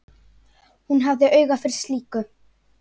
Hún hafði auga fyrir slíku.